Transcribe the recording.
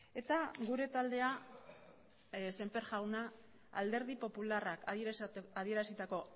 eta gure taldea sémper jauna alderdi popularrak adierazitako